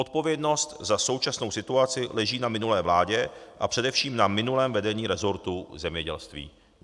Odpovědnost za současnou situaci leží na minulé vládě a především na minulém vedení resortu zemědělství.